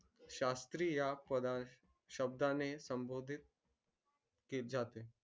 शास्त्रीया या पादा शब्दा ने संबोधदिद लित जातात